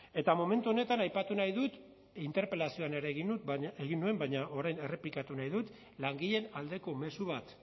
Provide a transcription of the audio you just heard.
eta momentu honetan aipatu nahi dut interpelazioan ere egin dut egin nuen baina orain errepikatu nahi dut langileen aldeko mezu bat